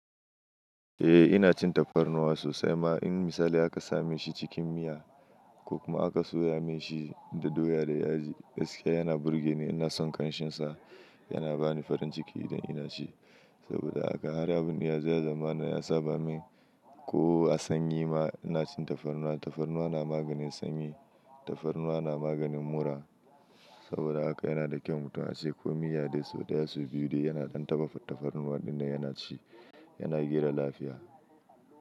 Eh ina cin tafarnuwa sosai ma in misali aka same shi cikin miya ko kuma aka soya mishi da doya da yaji. Gaskiya yana burge ni, ina son ƙanshin sa, yana bani farin ciki idan ina ci. Saboda haka har abin iya zai zama na ya saba min ko a sanyi ma ina cin tafarnuwa. Tafarnuwa na maganin sanyi, tafarnuwa na maganin mura. Saboda haka yana da kyau mutum ya ci ko miya dai ko daya su biyu dai yana ɗan tafarnuwa dinnan yana ci, yana gera lafiya.